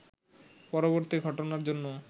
পরবর্তী ঘটনার জন্য